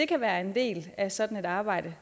kan være en del af sådan et arbejde